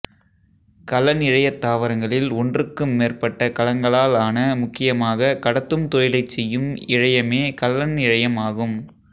கலன் இழையத் தாவரங்களில் ஒன்றுக்கும் மேற்பட்ட கலங்களால் ஆன முக்கியமாகக் கடத்தும் தொழிலைச் செய்யும் இழையமே கலன் இழையம் ஆகும்